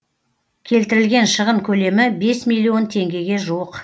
келтірілген шығын көлемі бес миллион теңгеге жуық